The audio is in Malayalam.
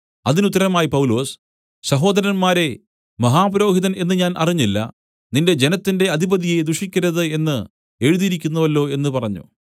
അതിനുത്തരമായി പൗലൊസ് സഹോദരന്മാരേ മഹാപുരോഹിതൻ എന്ന് ഞാൻ അറിഞ്ഞില്ല നിന്റെ ജനത്തിന്റെ അധിപതിയെ ദുഷിക്കരുത് എന്ന് എഴുതിയിരിക്കുന്നുവല്ലോ എന്നു പറഞ്ഞു